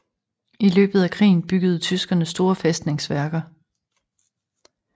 I løbet af krigen byggede tyskerne store fæstningsværker